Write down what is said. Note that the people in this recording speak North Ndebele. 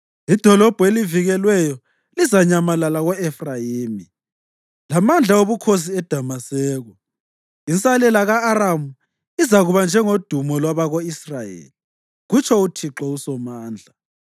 Idolobho elivikelweyo lizanyamalala ko-Efrayimi lamandla obukhosi eDamaseko; insalela ka-Aramu izakuba njengodumo lwabako-Israyeli,” kutsho uThixo uSomandla.